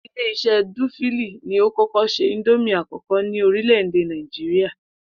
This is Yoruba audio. Ilé is̩é̩ Dúfíìlì ni ó kó̩kó̩ s̩e ìndómì àkó̩kó̩ ní orílè̩-èdè Nàìjíríà